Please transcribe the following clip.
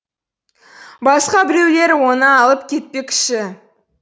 басқа біреулер оны алып кетпекші